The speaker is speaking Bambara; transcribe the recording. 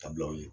Ka bila u ye